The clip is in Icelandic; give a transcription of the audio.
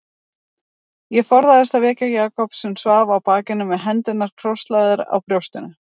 Ég forðaðist að vekja Jakob sem svaf á bakinu með hendurnar krosslagðar á brjóstinu.